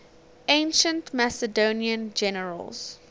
ancient macedonian generals